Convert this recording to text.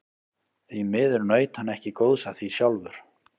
Því miður naut hann ekki góðs af því sjálfur.